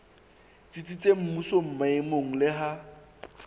tsitsitseng mmusong maemong le ha